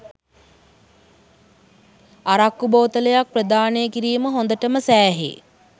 අරක්කු බෝතලයක් ප්‍රදානය කිරීම හොඳටම සෑහේ